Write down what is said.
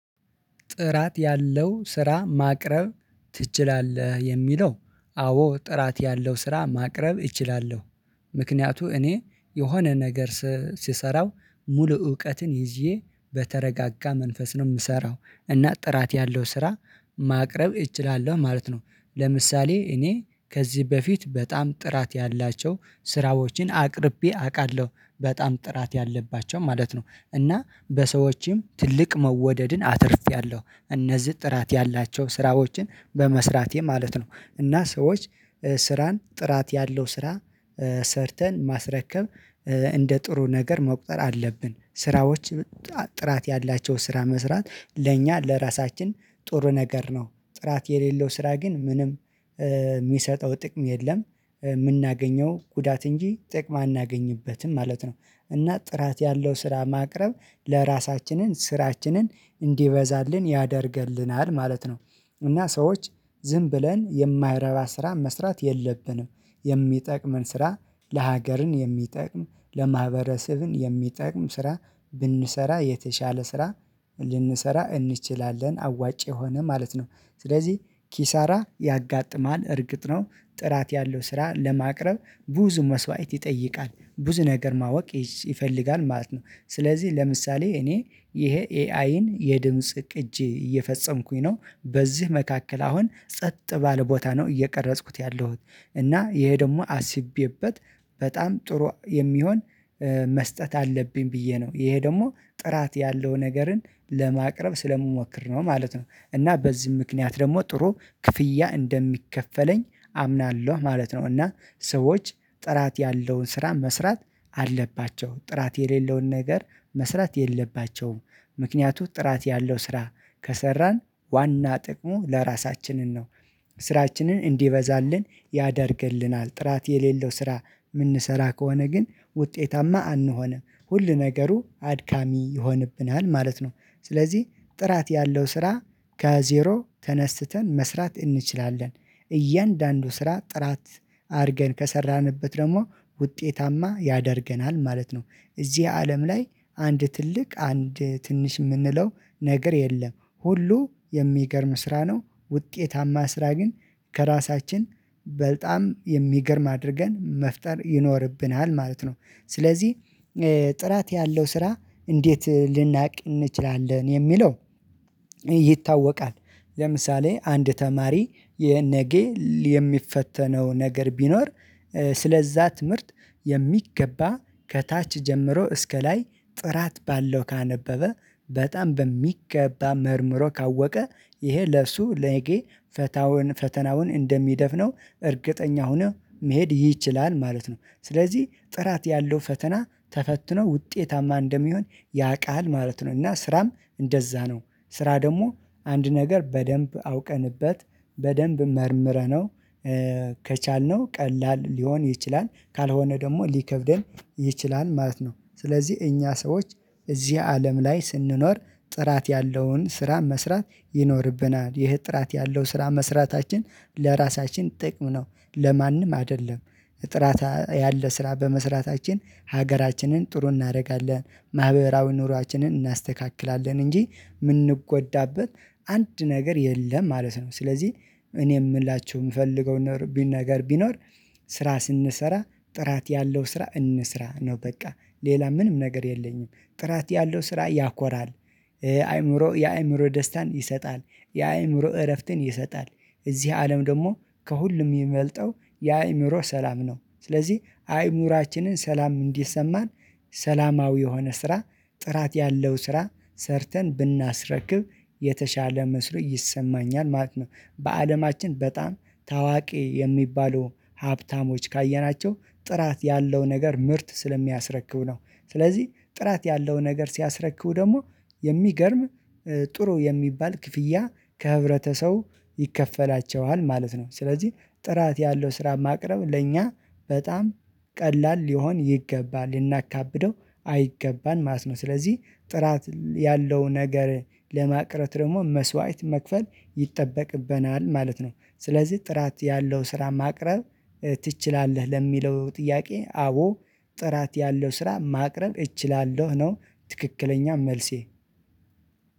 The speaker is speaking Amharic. ጥራት ያለው ስራ ማቅረብ ትችላለህ? የሚለው አዎ ጥራት ያለው ስራ ማቅረብ እችላለሁ። ምክንያቱ እኔ የሆነ ነገር ስሰራው ሙሉ እውቀትን ይዤ በተረጋጋ መንፈስ ነው የምሰራው እና ጥራት ያለው ስራ ማቅረብ እችላለሁ ማለት ነው። ለምሳሌ እኔ ከዚህ በፊት በጣም ጥራት ያላቸው ስራዎችን አቅርቤ አውቃለሁ በጣም ጥራት ያለባቸው ማለት ነው እና በሰዎችም ትልቅ መወደድን አትርፌያለሁ እነዚህ ጥራት ያላቸው ስራዎችን በመስራቴ ማለት ነው። እና ሰዎች ስራን ጥራት ያለው ስራ ሰርተን ማስረከብ እንደ ጥሩ ነገር መቁጠር አለብን። ስራዎች ጥራት ያላቸው ስራ መስራት ለእኛ ለራሳችን ጥሩ ነገር ነው። ጥራት የሌለው ስራ ግን ምንም የሚሰጠው ጥቅም የለም የምናገኘው ጉዳት እንጂ ጥቅም አናገኝበትም ማለት ነው። እና ጥራት ያለው ስራ ማቅረብ ለራሳችንን ስራችንን እንዲበዛልን ያደርግልናል ማለት ነው። እና ሰዎች ዝም ብለን የማይረባ ስራ መስራት የለብንም። የሚጠቅምን ስራ ለሀገርን የሚጠቅም ለማህበረሰብን የሚጠቅም ስራ ብንሰራ የተሻለ ስራ ልንሰራ እንችላለን አዋጭ የሆነ ማለት ነው። ስለዚህ ኪሳራ ያጋጥማል እርግጥ ነው። ጥራት ያለው ስራ ለማቅረብ ብዙ መስዋዕት ይጠይቃል ብዙ ነገር ማወቅ ይፈልጋል ማለት ነው። ስለዚህ ለምሳሌ እኔ ይሄ ኤአይን የድምጽ ቅጂ እየፈጸምኩኝ ነው ነው በዚህ መካከል አሁን ጸጥ ባለ ቦታ ነው እየቀረጽኩት ያለሁት። እና ይሄ ደግሞ አስቤበት በጣም ጥሩ የሚሆን መስጠት አለብኝ ብዬ ነው ይሄ ደግሞ ጥራት ያለውን ነገርን ለማቅረብ ስለምሞክር ነው ማለት ነው። እና በዚህ ምክንያት ደግሞ ጥሩ ክፍያ እንደሚከፈለኝ አምናለሁ ማለት ነው። እና ሰዎች ጥራት ያለውን ስራ መስራት አለባቸው ጥራት የሌለውን ነገር መስራት የለባቸውም። ምክንያቱም ጥራት ያለው ስራ ከሰራን ዋና ጥቅሙ ለራሳችንን ነው። ስራችንን እንዲበዛልን ያደርግልናል ጥራት የሌለው ስራ የምንሰራ ከሆነ ግን ውጤታማ አንሆንም ሁል ነገሩ አድካሚ ይሆንብናል ማለት ነው። ስለዚህ ጥራት ያለው ስራ ከዜሮ ተነስተን መስራት እንችላለን። እያንዳንዱ ስራ ጥራት አድርገን ከሰራንበት ደግሞ ውጤታማ ያደርገናል ማለት ነው። እዚህ አለም ላይ አንድ ትልቅ አንድ ትንሽ የምንለው ነገር የለም ሁሉ የሚገርም ስራ ነው። ውጤታማ ስራ ግን ከራሳችን በጣም የሚገርም አድርገን መፍጠር ይኖርብናል ማለት ነው። ስለዚህ ጥራት ያለው ስራ እንዴት ልናውቅ እንችላለን? የሚለው ይታወቃል። ለምሳሌ አንድ ተማሪ የነጌ የሚፈተነው ነገር ቢኖር ስለ እዛ ትምህርት የሚገባ ከታች ጀምሮ እስከ ላይ ጥራት ባለው ካነበበ በጣም በሚገባ መርምሮ ካወቀ ይሄ ለሱ ነጌ ፈተናውን እንደሚደፍነው እርግጠኛ ሆኖ መሄድ ይችላል ማለት ነው። ስለዚህ ጥራት ያለው ፈተና ተፈትኖ ውጤታማ እንደሚሆን ያውቃል ማለት ነው። እና ስራም እንደዛ ነው። ስራ ደግሞ አንድ ነገር በደንብ አውቀንበት በደንብ መርምረነው ከቻልነው ቀላል ሊሆን ይችላል ካልሆነ ደግሞ ሊከብደን ይችላል ማለት ነው። ስለዚህ እኛ ሰዎች እዚህ አለም ላይ ስንኖር ጥራት ያለውን ስራ መስራት ይኖርብናል። ይህ ጥራት ያለው ስራ መስራታችን ለራሳችን ጥቅም ነው። ለማንም አይደለም። ጥራት ያለ ስራ በመስራታችን ሀገራችንን ጥሩ እናደርጋለን ማህበራዊ ኑሮአችንን እናስተካክላለን እንጂ የምንጎዳበት አንድ ነገር የለም ማለት ነው። ስለዚህ እኔ የምላችሁ የምፈልገው ነገር ቢኖር ስራ ስንሰራ ጥራት ያለው ስራ እንስራ ነው። በቃ ሌላ ምንም ነገር የለኝም። ጥራት ያለው ስራ ያኮራል። አይምሮ የአይምሮ ደስታን ይሰጣል። የአእምሮ እረፍትን ይሰጣል። እዚህ አለም ደግሞ ከሁሉም የሚበልጠው የአእምሮ ሰላም ነው። ስለዚህ አይምሯችንን ሰላም እንዲሰማን ሰላማዊ የሆነ ስራ ጥራት ያለው ስራ ሰርተን ብናስረክብ የተሻለ መስሎ ይሰማኛል ማለት ነው። በአለማችን በጣም ታዋቂ የሚባሉ ሀብታሞች ካየናቸው ጥራት ያለው ነገር ምርት ስለሚያስረክብ ነው። ስለዚህ ጥራት ያለው ነገር ሲያስረክቡ ደግሞ የሚገርም ጥሩ የሚባል ክፍያ ከህብረተቡ ሰው ይከፈላቸዋል ማለት ነው። ስለዚህ ጥራት ያለው ስራ ማቅረብ ለእኛ በጣም ቀላል ሊሆን ይገባል ልናካብደው አይገባም ማለት ነው። ስለዚህ ጥራት ያለው ነገር ለማቅረት ደግሞ መስዋዕት መክፈል ይጠበቅብናል ማለት ነው። ስለዚህ ጥራት ያለው ስራ ማቅረብ? ትችላለህ ለሚለው ጥያቄ አቦ ጥራት ያለው ስራ ማቅረብ እችላለሁ ነው። ትክክለኛ መልሴ